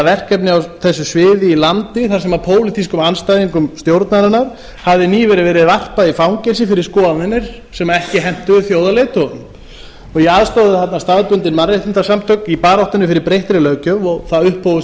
verkefni á þessu sviði í landi þar sem pólitískum andstæðingum stjórnarinnar hafði nýlega verið varpað í fangelsi fyrir skoðanir sem ekki hentuðu þjóðarleiðtogunum ég aðstoðaði þarna staðbundin mannréttindasamtök í baráttunni fyrir breyttri löggjöf og það upphófust